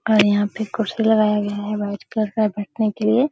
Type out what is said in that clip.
और यहां पर कुर्सी लगाया गया है व्हाइट कलर का बैठने के लिए।